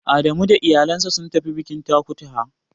Adamu da iyalinsa sun tafi bikin Takutaha.